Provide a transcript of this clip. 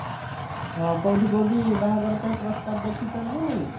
କୋଉଠି କୋଉଠି ବାହାଘର ପାଇଁ ପ୍ରସ୍ତାବ ଦେଖିଛନ୍ତି